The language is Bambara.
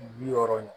Bi wɔɔrɔ